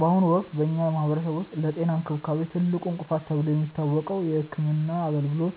በአሁኑ ወቅት በኛ ማህበረሰብ ውስጥ ለጤና እንክብካቤ ትልቁ እንቅፋት ተብሎ የሚታወቀው የሕክምና አገልግሎት